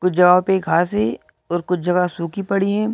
कुछ जगहों पे घास है और कुछ जगह सूखी पड़ी हैं।